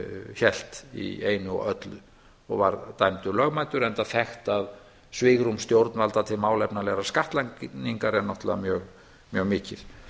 hélt í einu og öllu og var dæmdur lögmætur enda þekkt að svigrúm stjórnvalda til málefnalegra skattlagningar er náttúrulega mjög mikið